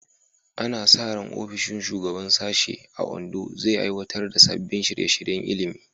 Ana sa ran ofishin shugaban sashe a Ondo zai aiwatar da sabbin shirye-shiryen ilimi.